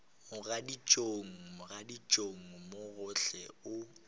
mogaditšong mogaditšong mo gohle o